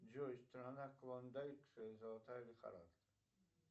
джой страна клондайк золотая лихорадка